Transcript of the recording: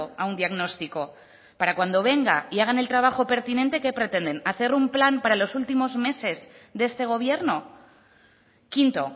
a un diagnóstico para cuando venga y hagan el trabajo pertinente qué pretenden hacer un plan para los últimos meses de este gobierno quinto